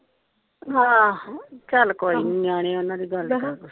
ਹਾਂ ਚਾਲ ਕੋਯੀਨੀ ਨਿਆਣੇ ਓਹਨਾ ਦੀ ਗੱਲ ਦਾ ਕਾਹਦਾ।